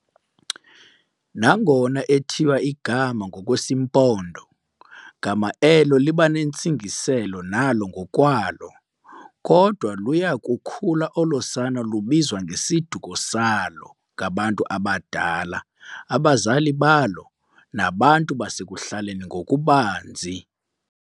Nangona ethiywa igama ngokwesiMpondo, gama elo libanentsingiselo nalo ngokwalo, kodwa luyakukhula olo sana lubizwa ngesiduko salo ngabantu abadala, abazali balo nabantu basekuhlaleni ngokubanzi.